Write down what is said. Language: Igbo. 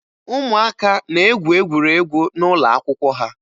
Ụmụaka na-egwu egwuregwu n'ụlọ akwụkwọ ha